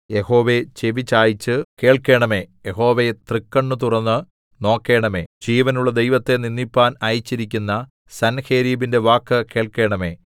യഹോവേ ചെവിചായിച്ചു കേൾക്കേണമേ യഹോവേ തൃക്കണ്ണുതുറന്ന് നോക്കേണമേ ജീവനുള്ള ദൈവത്തെ നിന്ദിപ്പാൻ അയച്ചിരിക്കുന്ന സൻഹേരീബിന്റെ വാക്ക് കേൾക്കേണമേ